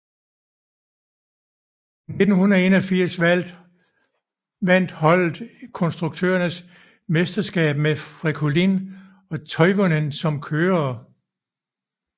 I 1981 vandt holdet konstruktørernes mesterskab med Fréquelin og Toivonen som kørere